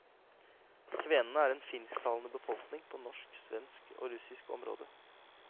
Kvenene er en finsktalende befolkning på norsk, svensk og russisk område.